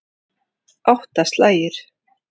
Átta slagir.